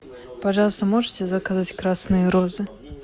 пожалуйста можете заказать красные розы